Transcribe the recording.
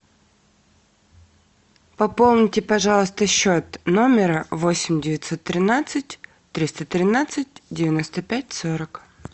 пополните пожалуйста счет номера восемь девятьсот тринадцать триста тринадцать девяносто пять сорок